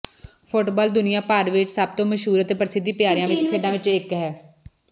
football ਦੁਨੀਆਂ ਭਰ ਵਿੱਚ ਸਭ ਤੋਂ ਮਸ਼ਹੂਰ ਅਤੇ ਪ੍ਰਸਿੱਧ ਪਿਆਰਿਆਂ ਖੇਡਾਂ ਵਿੱਚੋਂ ਇੱਕ ਹੈ